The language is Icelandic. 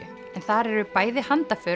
þar eru bæði